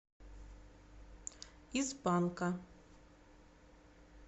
из панка